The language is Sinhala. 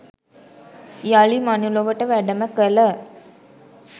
යළි මනුලොවට වැඩම කළ